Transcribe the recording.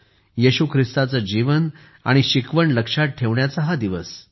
येशू ख्रिस्ताचे जीवन आणि शिकवण लक्षात ठेवण्याचा हा दिवस आहे